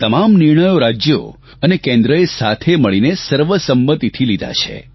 તમામ નિર્ણયો રાજ્યો અને કેન્દ્રએ સાથે મળીને સર્વસંમતિથી લીધા છે